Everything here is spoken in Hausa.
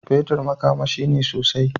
Fetir makamashi ne sosai.